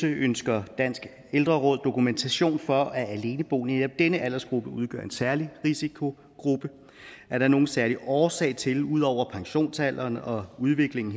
ønsker dansk ældreråd dokumentation for at aleneboende i netop denne aldersgruppe udgør en særlig risikogruppe er der nogle særlige årsag til ud over pensionsalderen og udviklingen